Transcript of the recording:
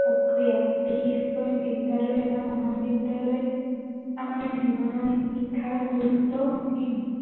প্ৰক্ৰিয়া বিশেষকৈ বিদ্য়ালয় বা মহাবিদ্য়ালয়ত আমাৰ জীৱনৰ শিক্ষাৰ গুৰুত্ৱ অসীম